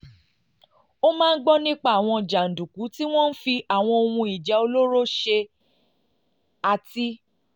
ó máa ń gbọ́ nípa àwọn jàǹdùkú tí wọ́n fi àwọn ohun ìjà olóró ṣe àti